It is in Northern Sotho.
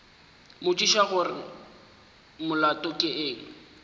mmotšiša gore molato ke eng